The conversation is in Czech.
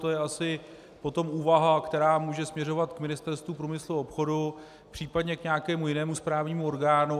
To je asi potom úvaha, která může směřovat k Ministerstvu průmyslu a obchodu, příp. k nějakému jinému správnímu orgánu.